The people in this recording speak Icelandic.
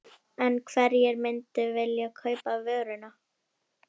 En hverjir myndu vilja kaupa vöruna?